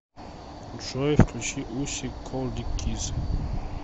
джой включи усик колдик киз